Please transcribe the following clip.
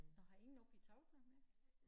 Nåh har I ingen oppe i Toftlund mere?